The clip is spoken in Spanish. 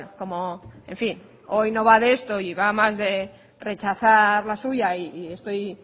como en fin hoy no va de esto y va más de rechazar la suya y estoy